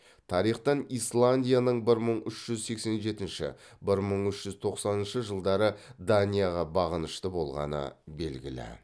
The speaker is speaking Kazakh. тарихтан исландияның бір мың үш жүз сексен жетінші бір мың үш жүз тоқсаныншы жылдары данияға бағынышты болғаны белгілі